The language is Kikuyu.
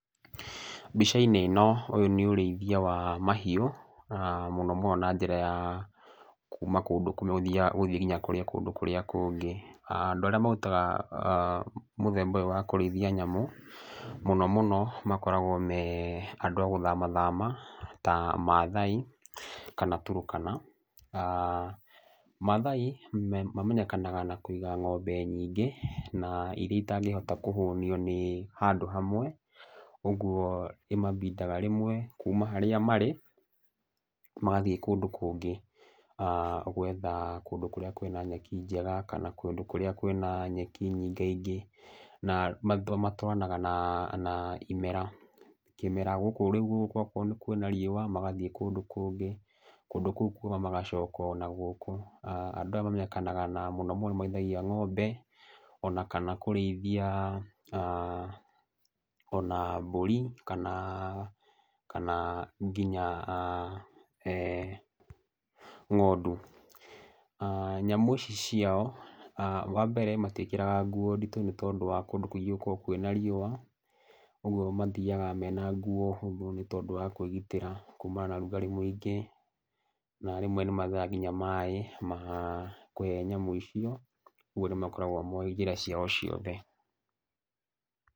Mbica-inĩ ĩno ũyũ nĩ ũrĩithia wa mahiũ na mũno mũno na njĩra ya kuuma kũndũ kũmwe gũthiĩ nginya kũndũ kũrĩa kũngĩ. Andũ arĩa marutaga mũthemba ũyũ wa kũrĩithia nyamũ mũno mũno makoragwo me andũ a gũthama thama ta Maathai kana Turkana. Maathai mamenyekanaga na kũiga ng'ombe nyingĩ, na irĩa itangĩhota kũhũnio nĩ handũ hamwe. Ũguo imabindaga rĩmwe kuuma harĩa marĩ, magathiĩ kũndũ kũngĩ gwetha kũndũ kũrĩa kwĩna nyeki njega kana kũndũ kũrĩa kwĩna nyeki nyingaingĩ. Na matwaranaga na imera, kĩmera gũkũ rĩu gũkũ gwakorwo kwĩna riũa magathiĩ kũndũ kũngi, kũndũ kũu kuma magacoka o nagũkũ. Na andũ aya mamenyekanaga na mũno mũno nĩ marĩithagia ng'ombe ona kana kũrĩithia ona mbũri kana, kana nginya ng'ondu. Nyamũ ici ciao, wa mbere mati ĩkĩraga nguo nditũ nĩ tondũ wa kũndũ kũingĩ gũkoragwo kwĩna riũa, ũguo mathiaga mena nguo hũthũ nĩ tondũ wa kwĩgitĩra kumana na ũrugarĩ mũingĩ. Na rĩmwe nĩ maagaga nginya maĩ ma kũhe nyamũ icio, ũguo nĩ makoragwo moĩ njĩra ciao ciothe.